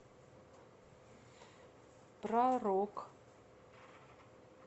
про рок